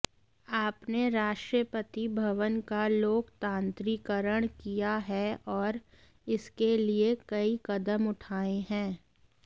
आपने राष्ट्रपति भवन का लोकतांत्रीकरण किया है और इसके लिए कई कदम उठाए हैं